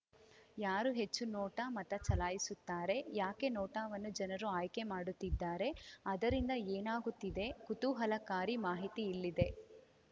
ಯಾರು ಹೆಚ್ಚು ನೋಟಾ ಮತ ಚಲಾಯಿಸುತ್ತಾರೆ ಯಾಕೆ ನೋಟಾವನ್ನು ಜನರು ಆಯ್ಕೆ ಮಾಡುತ್ತಿದ್ದಾರೆ ಅದರಿಂದ ಏನಾಗುತ್ತಿದೆ ಕುತೂಹಲಕಾರಿ ಮಾಹಿತಿ ಇಲ್ಲಿದೆ